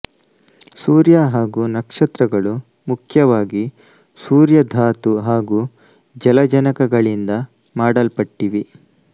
ಸೂರ್ಯ ಹಾಗೂ ನಕ್ಷತ್ರಗಳು ಮುಖ್ಯವಾಗಿ ಸೂರ್ಯಧಾತು ಹಾಗೂ ಜಲಜನಕಗಳಿಂದ ಮಾಡಲ್ಪಟ್ಟಿವೆ